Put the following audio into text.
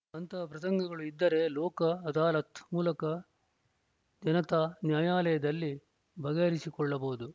ಅಂತಹ ಪ್ರಸಂಗಗಳು ಇದ್ದರೆ ಲೋಕ್‌ ಅದಾಲತ್‌ ಮೂಲಕ ಜನತಾ ನ್ಯಾಯಾಲಯದಲ್ಲಿ ಬಗೆಹರಿಸಿಕೊಳ್ಳಬಹುದು